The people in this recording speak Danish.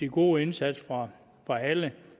gode indsats fra alle